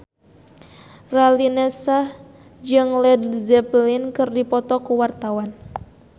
Raline Shah jeung Led Zeppelin keur dipoto ku wartawan